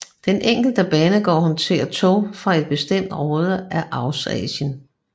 Den enkelte banegård håndterer tog fra et bestemt område af Eurasien